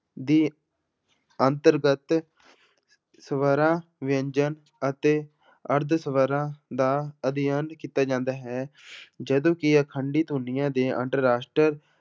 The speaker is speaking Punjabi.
ਦੇ ਅੰਤਰਗਤ ਸਵਰਾਂ ਵਿਅੰਜਨ ਅਤੇ ਅਰਧ ਸਵਰਾਂ ਦਾ ਅਧਿਐਨ ਕੀਤਾ ਜਾਂਦਾ ਹੈ ਜਦੋਂ ਕਿ ਅਖੰਡੀ ਧੁਨੀਆਂ ਦੇ